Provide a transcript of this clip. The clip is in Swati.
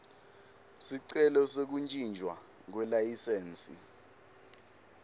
sicelo sekuntjintjwa kwelayisensi